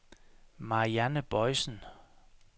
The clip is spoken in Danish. Marianne Boisen